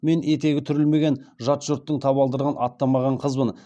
мен етегі түрілмеген жат жұрттың табалдырығын аттамаған қызбын